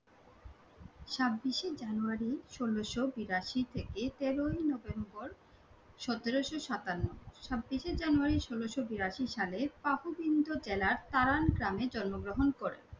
ছাব্বিশে জানুয়ারী ষোলোশো বিরাশি থেকে তেরোই নভেম্বর সতেরোশো সাতান্ন। ছাব্বিশে জানুয়ারী ষোলোশো বিরাশি সালে পাকুবিন্দ জেলার তারান গ্রামে জন্মগ্রহণ করেন।